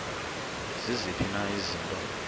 ziziphi na izinto